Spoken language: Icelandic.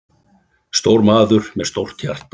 Stór maður með stórt hjarta.